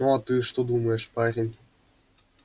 ну а ты что думаешь парень